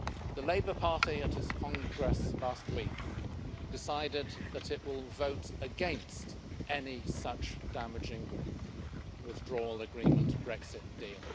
The Labour Party at its congress last week decided that it will vote against any such damaging withdrawal agreement on a Brexit deal.